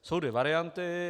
Jsou dvě varianty.